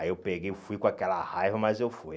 Aí eu peguei, fui com aquela raiva, mas eu fui.